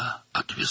Hara apardı?